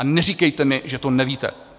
A neříkejte mi, že to nevíte.